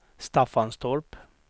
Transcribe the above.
Staffanstorp